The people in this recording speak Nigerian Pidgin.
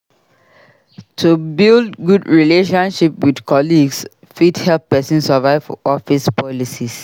To build good relationship with colleagues fit help pesin survive office politics.